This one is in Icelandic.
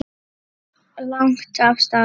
Lagt af stað